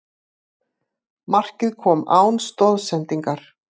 Markið kom án stoðsendingar